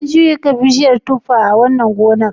An shuka bishiyar tuffa a wannan gonar?